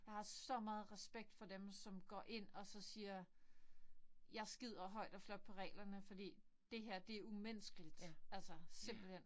Jeg så meget respekt for dem som går ind og så siger jeg skider højt og flot på reglerne fordi det her det umenneskeligt. Altså simpelthen